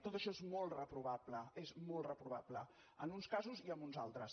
tot això és molt reprovable és molt reprovable en uns casos i en uns altres